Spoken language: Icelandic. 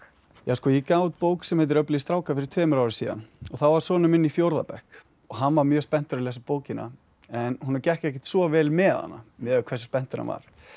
ég gaf út bók sem heitir öflugir strákar fyrir tveimur árum og þá var sonur minn í fjórða bekk og hann var mjög spenntur að lesa bókina en honum gekk ekkert svo vel með hana miðað við hversu spenntur hann var